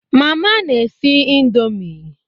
Mama n'esi ndomi